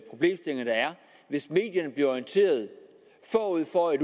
hvis medierne bliver orienteret forud for at